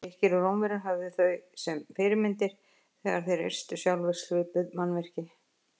Grikkir og Rómverjar höfðu þau sem fyrirmyndir þegar þeir reistu sjálfir svipuð mannvirki.